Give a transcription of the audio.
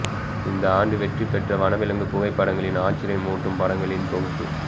இந்த ஆண்டு வெற்றி பெற்ற வனவிலங்கு புகைப்படங்களின் ஆச்சிரியமூட்டும் படங்களின் தொகுப்பு